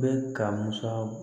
Bɛ ka musa